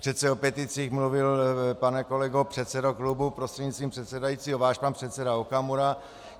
Přece o peticích mluvil, pane kolego předsedo klubu prostřednictvím předsedajícího, váš pan předseda Okamura.